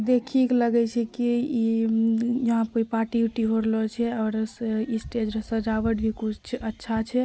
देखिए के लगी रहले छै इ यहां पर पार्टी उटी होय रहला छै और स्टेज सजावट भी इ कुछ अच्छा छै।